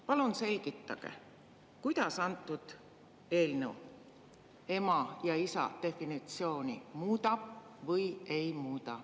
Palun selgitage, kuidas antud eelnõu ema ja isa definitsiooni muudab või ei muuda.